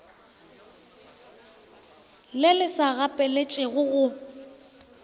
le le sa gapeletšegego go